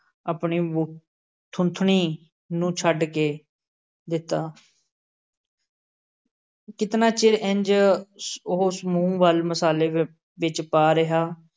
ਆਪਣੀ ਬੂ ਥੂਥਣੀ ਨੂੰ ਛੱਡ ਕੇ ਦਿੱਤਾ । ਕਿਤਨਾ ਚਿਰ ਇੰਝ ਉਸ ਮੂੰਹ ਵੱਲ ਮਸਾਲੇ ਅਹ ਵਿੱਚ ਪਾ ਰਿਹਾ।